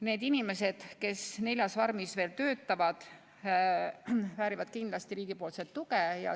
Need inimesed, kes neljas farmis veel töötavad, väärivad kindlasti riigi tuge.